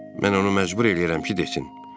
Mən onu məcbur eləyirəm ki, desin: